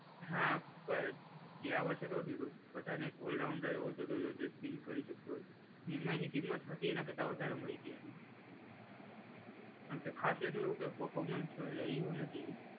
હા પર ગયા વર્ષે તો વધ્યું હતું. બધાને એક ઓલરાઉન્ડર એવો જોઈતો તો એટલે સ્પીન કરી શકતો હોય. એમાં એની કિંમત હતી એના કરતાં વધારે મળી હતી એને. અને કંઈ ખાસ એનો એવો કંઈ પર્ફોમન્સ રહ્યું નથી.